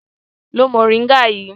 Lo mòríngà yìí!